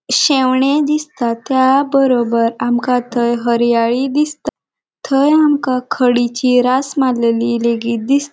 शेवणे दिसता त्या बरोबर आमका थंय हरियाळी दिसता थंय आमका खडीची रास मारलेली लेगीत दिस --